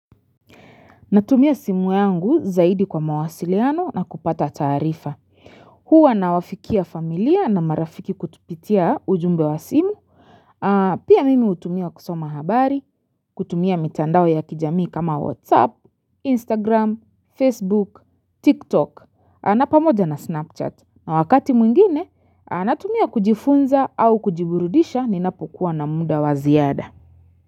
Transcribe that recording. Natumia simu yangu zaidi kwa mawasiliano na kupata taarifa. Huwa nawafikia familia na marafiki kupitia ujumbe wa simu. Pia mimi hutumia kusoma habari, kutumia mitandao ya kijami kama WhatsApp, Instagram, Facebook, TikTok. Na pamoja na Snapchat. Na wakati mwingine, natumia kujifunza au kujiburudisha ninapokuwa na muda wa ziada.